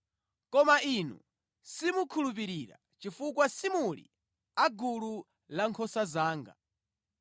koma inu simukhulupirira chifukwa simuli a gulu lankhosa zanga.